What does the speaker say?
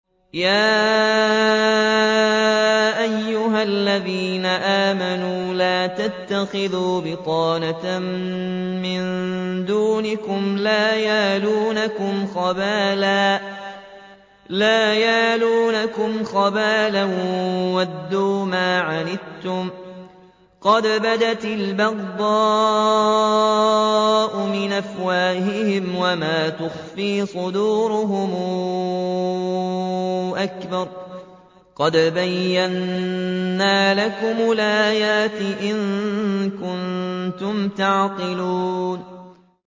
يَا أَيُّهَا الَّذِينَ آمَنُوا لَا تَتَّخِذُوا بِطَانَةً مِّن دُونِكُمْ لَا يَأْلُونَكُمْ خَبَالًا وَدُّوا مَا عَنِتُّمْ قَدْ بَدَتِ الْبَغْضَاءُ مِنْ أَفْوَاهِهِمْ وَمَا تُخْفِي صُدُورُهُمْ أَكْبَرُ ۚ قَدْ بَيَّنَّا لَكُمُ الْآيَاتِ ۖ إِن كُنتُمْ تَعْقِلُونَ